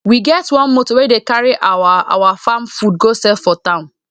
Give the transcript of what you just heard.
we get one motor wey dey carry our our farm food go sell for town